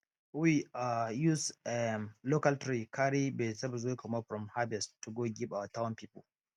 we um use um local tray carry vegetables wey comot from harvest to go give our town people